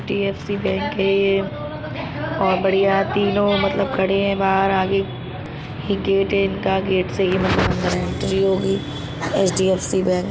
HDFC. Bank है ये और बढ़िया है तीनों मतलब खड़े हैं बाहर आगे एक गेट है इनका गेट से ही मतलब अंदर एंट्री होगी एच.डी.एफ.सी. बैंक --